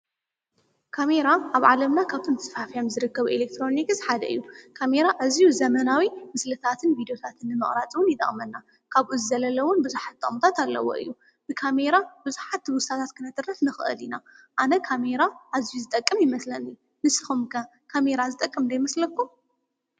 ካሜራ ኣብ ዓለምና ካብቶም ተስፋሕፊሖም ዝርከብ ኤሌክትሮኒስ ሓደ እዩ፡፡ ካሜራ እዙይ ዘመናዊ ምስልታትን ቪድዮታትን ንምቕራፅ ውን ይቕመና፡፡ ካብኡ ዝዘለለውን ብዙሓት ጥቕምታት ኣለዎ እዩ፡፡ ብካሜይራ ብዙሓት ትውስታታት ክነትርፍ ንኽአል ኢና፡፡ ኣነ ካሜራ እዙይ ዝጠቅም ይመስለኒ፡፡ ንስኹም ከካሜራ ዝጠቅም ዶ ይመስለኩም?